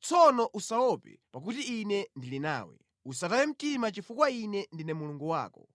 Tsono usaope, pakuti Ine ndili nawe; usataye mtima chifukwa Ine ndine Mulungu wako.